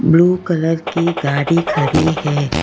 Blue colour की गाड़ी खड़ी है।